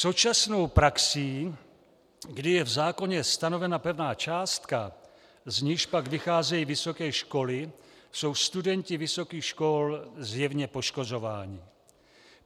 Současnou praxí, kdy je v zákoně stanovena pevná částka, z níž pak vycházejí vysoké školy, jsou studenti vysokých škol zjevně poškozováni.